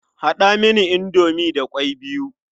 Haɗa mini indomi da ƙwai biyu.